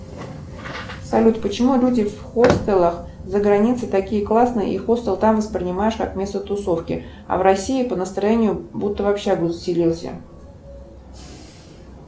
салют почему люди в хостелах за границей такие классные и хостел там воспринимаешь как место тусовки а в россии по настроению будто в общагу заселился